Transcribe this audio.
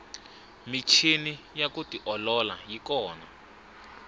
michini ya ku tiolola yi kona